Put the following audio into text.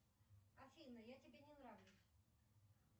афина я тебе не нравлюсь